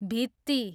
भित्ती